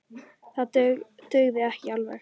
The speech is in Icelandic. Það dugði ekki alveg.